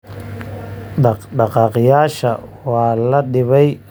Dhaqdhaqaaqayaasha waa la dhibay. Hadda waxay leeyihiin cod.